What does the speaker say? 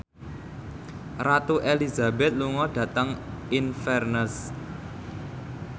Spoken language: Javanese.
Ratu Elizabeth lunga dhateng Inverness